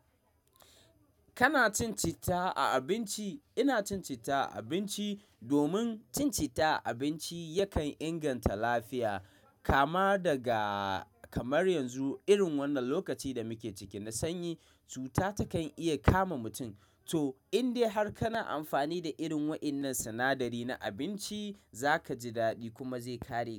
Kana cin citta a abinci? Ina cin citta a abinci domin cin citta a abinci yakan inganta lafiya. Kamar daga kamar yanzu, irin wannan lokacin da muke ciki na sanyi, cuta takan iya kama mutum. To, in dai har kana amfani da irin waɗannan sinadari na abinci, za ka ji daɗi kuma zai ƙare cutar.